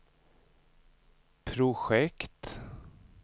projekt